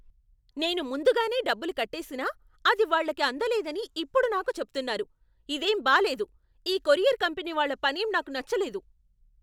నేను ముందుగానే డబ్బులు కట్టేసినా, అది వాళ్ళకి అందలేదని ఇప్పుడు నాకు చెప్తున్నారు! ఇదేం బాలేదు. ఈ కొరియర్ కంపెనీ వాళ్ళ పనేం నాకు నచ్చలేదు.